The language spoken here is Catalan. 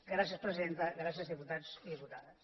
gràcies presidenta gràcies diputats i diputades